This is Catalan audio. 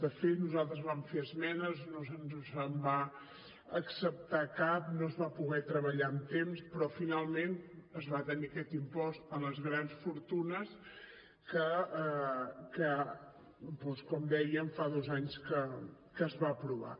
de fet nosaltres vam fer esmenes i no se’ns va acceptar cap no es va poder treballar amb temps però finalment es va tenir aquest impost a les grans fortunes que doncs com dèiem fa dos anys que es va aprovar